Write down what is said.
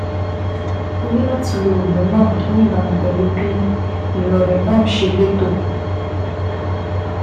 O ní láti lo oògùn náà ní ìbámu pẹ̀lú bí irorẹ́ náà ṣe le tó